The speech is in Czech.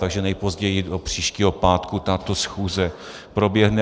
Takže nejpozději do příštího pátku tato schůze proběhne.